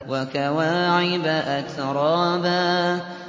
وَكَوَاعِبَ أَتْرَابًا